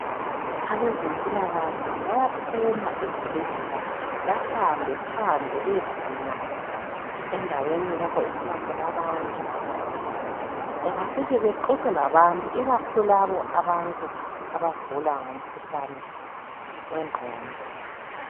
Ebezempilakahle bayaphuma ezibhedlela behambe phandle bayedinga endaweni lapho okuhlala khona abantu bafike baxoxe labantu ikakhulu labo abagula umkhuhlane wengqondo